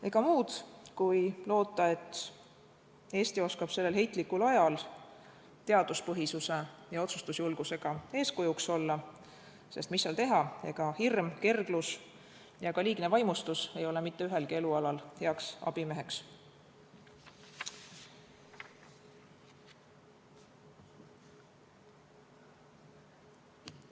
Ega muud jäägi üle, kui tuleb loota, et Eesti oskab sellel heitlikul ajal teaduspõhisuse ja otsustusjulgusega eeskujuks olla, sest mis seal teha, ega hirm, kerglus ega ka mitte liigne vaimustus ei ole mitte ühelgi elualal heaks abimeheks.